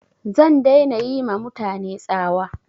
Zan dai na yi ma mutane tsawa